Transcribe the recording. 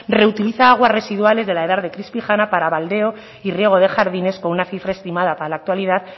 reutiliza aguas residuales de la edar de crispijana para baldeo y riego de jardines con una cifra estimada para la actualidad